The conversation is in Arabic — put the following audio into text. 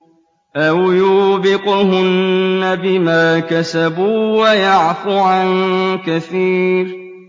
أَوْ يُوبِقْهُنَّ بِمَا كَسَبُوا وَيَعْفُ عَن كَثِيرٍ